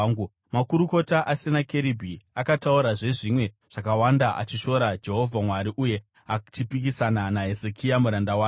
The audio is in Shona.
Makurukota aSenakeribhi akataurazve zvimwe zvakawanda achishora Jehovha Mwari uye achipikisana naHezekia muranda wake.